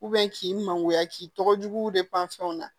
k'i magoya k'i tɔgɔ jugu de panfɛnw na